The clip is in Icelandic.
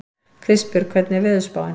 Kristbjörg, hvernig er veðurspáin?